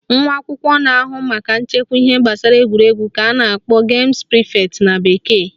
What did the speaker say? Nwa akwụkwọ na-ahụ maka nchekwa ihe gbasara egwuregwu ka a na-akpọ games prefect na bekee